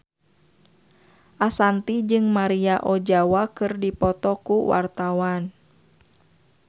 Ashanti jeung Maria Ozawa keur dipoto ku wartawan